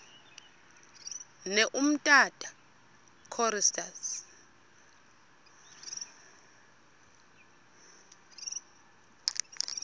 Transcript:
ne umtata choristers